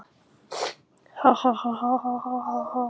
Salurinn ætlaði að ærast af hlátri.